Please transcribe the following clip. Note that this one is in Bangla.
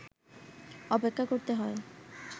অপেক্ষা করতে হয়